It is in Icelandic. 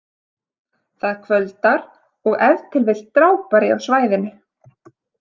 Það kvöldar og ef til vill drápari á svæðinu.